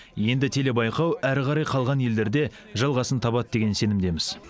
енді телебайқау әрі қарай қалған елдерде жалғасын табады деген сенімдеміз